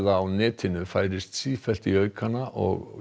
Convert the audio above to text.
á netinu færist sífellt í aukana og